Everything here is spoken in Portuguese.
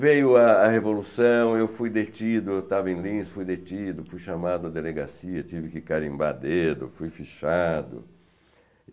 Veio a a Revolução, eu fui detido, eu estava em Lins, fui detido, fui chamado à delegacia, tive que carimbar dedo, fui fichado.